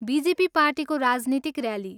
BJP पार्टीको राजनीतिक rally.